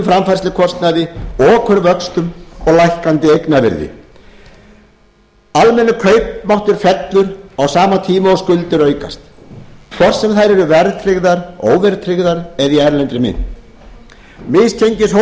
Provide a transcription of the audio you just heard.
framfærslukostnaði okurvöxtum og lækkandi eignavirði almennur kaupmáttur fellur á sama tíma og skuldir aukast hvort sem þær eru verðtryggðar óverðtryggðar eða í erlendri mynt misgengishópar myndast og